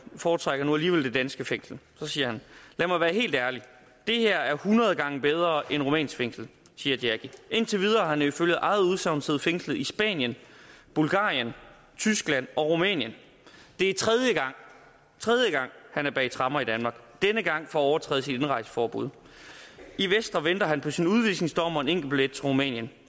foretrækker nu alligevel det danske fængsel og så siger han lad mig være helt ærlig det her er hundrede gange bedre et rumænsk fængsel siger jackie videre indtil videre har han ifølge eget udsagn siddet fængslet i spanien bulgarien tyskland og rumænien det er tredje gang han er bag tremmer i danmark og denne gang for overtrædelse indrejseforbud i vestre venter han på sin udvisningsdom og en enkeltbillet til rumænien